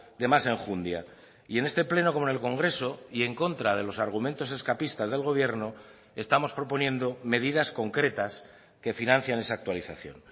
de más enjundia y en este pleno como en el congreso y en contra de los argumentos escapistas del gobierno estamos proponiendo medidas concretas que financian esa actualización